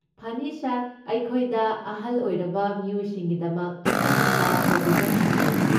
ꯐꯅꯤ ꯁꯥꯔ꯫ ꯑꯩꯈꯣꯏꯗ ꯑꯍꯜ ꯑꯣꯏꯔꯕ ꯃꯤꯑꯣꯏꯁꯤꯡꯒꯤꯗꯃꯛ ꯑꯀꯛꯅꯕ ꯄ꯭ꯔꯣꯕꯤꯖꯟꯁꯤꯡ ꯂꯩ꯫